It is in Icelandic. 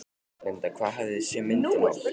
Linda: Hvað hafið þið séð myndina oft?